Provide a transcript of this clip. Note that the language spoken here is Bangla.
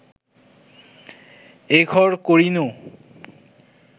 এঘর করিনু